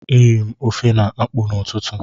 E riri m ofe na akpụ n'ụtụtụ